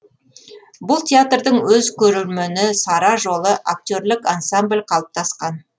бұл театрдың өз көрермені сара жолы актерлік ансамбль қалыптасқан